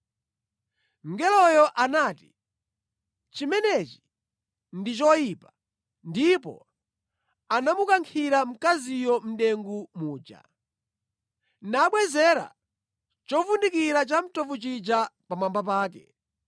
Mngeloyo anati, “Chimenechi ndi choyipa,” ndipo anamukankhira mkaziyo mʼdengu muja, nabwezera chovundikira chamtovu chija pamwamba pake.